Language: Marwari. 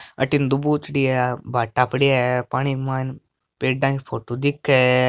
अठीने दबोचड़ी है भाटा पड़िया है पानी के मायने पेड़ा की फोटो दिखे है।